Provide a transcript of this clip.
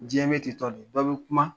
Diɲɛ bɛ ten tɔ de bɛ bi kuma